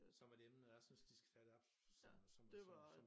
Som et emne jeg synes de skal tage det op som som som